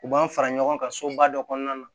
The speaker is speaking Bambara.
U b'an fara ɲɔgɔn kan soba dɔ kɔnɔna na